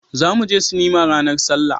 za mu je sinima ranar sallah